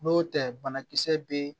N'o tɛ banakisɛ bɛ